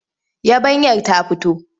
Yabanyar ta fito?